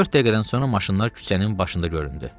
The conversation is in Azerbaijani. Dörd dəqiqədən sonra maşınlar küçənin başında göründü.